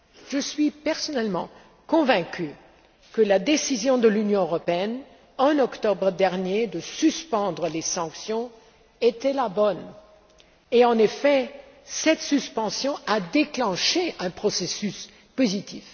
Je suis personnellement convaincue que la décision prise par l'Union européenne, en octobre dernier, de suspendre les sanctions, était la bonne, et en effet, cette suspension a déclenché un processus positif.